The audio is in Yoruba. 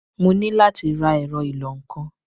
Mo ní láti ra ẹ̀rọ ìlọ-nǹkan.